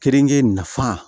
Keninge nafa